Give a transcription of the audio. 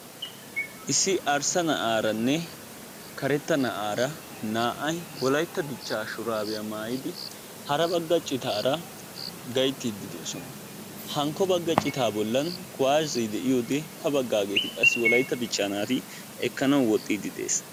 issi arssa na'aaranne karetta na'aara naa"ay wolaytta dichchaa shuraabiyaa maayidi hara bagga ciitaara gayttiiddi de'oosona. hankko bagga ciitaa bollan kuwaasee de'iyoode ha baggaageti qassi wollaytta dichchaa naati ekkanawu woxxiddi de"es.